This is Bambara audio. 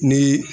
Ni